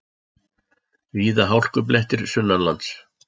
Víða hálkublettir sunnanlands